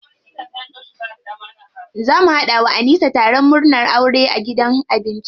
Za mu haɗa wa Anisa taron murnan aure a gidan abinci.